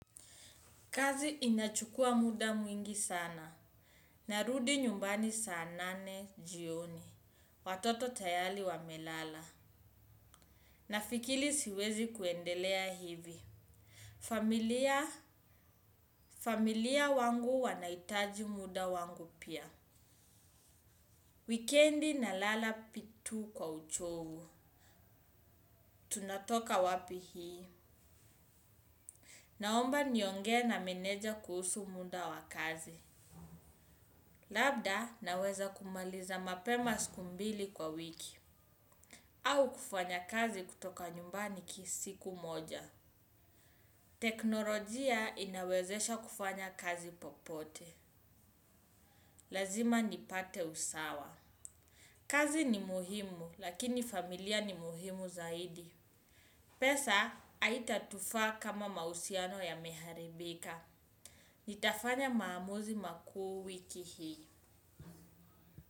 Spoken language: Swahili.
Kazi inachukua muda mwingi sana. Narudi nyumbani saa nane jioni. Watoto tayali wamelala. Na fikili siwezi kuendelea hivi. Familia, familia wangu wanaitaji muda wangu pia. Wikendi nalala pitu kwa uchovu. Tunatoka wapi hii. Naomba niongee na meneja kuhusu munda wa kazi. Labda naweza kumaliza mapema siku mbili kwa wiki. Au kufanya kazi kutoka nyumbani kisiku moja. Teknolojia inawezesha kufanya kazi popote. Lazima nipate usawa. Kazi ni muhimu, lakini familia ni muhimu zaidi. Pesa, aitatufaa kama mausiano yameharibika. Nitafanya maamuzi makuu wiki hii.